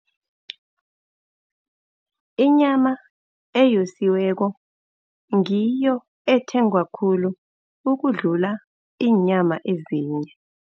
Inyama eyosiweko ngiyo ethengwa khulu ukudlula iinyama ezinye.